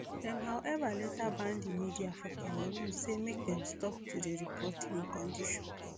dem however later ban di media for cameroon say make dem stop to dey report im condition